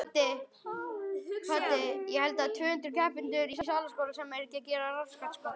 Hræddur við okkur?